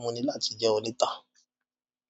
mú mi láti jẹun níta.